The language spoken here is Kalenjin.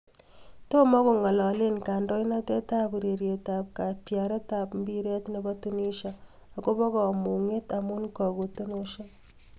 Tomakongaleo kandoinatet ab ureryet ab kataret ab mbiret nebo tunisia akobo kamunget amu kaguote nosiek